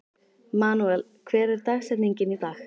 Manuel, hver er dagsetningin í dag?